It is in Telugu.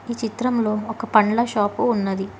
చిత్రంలో ఒక పండ్ల షాపు ఉన్నది.